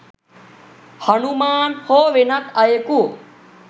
හනුමාන් හෝ වෙනත් අයකු